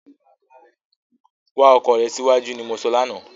Wá ọkọ rè síwájú ni mo sọ lánàá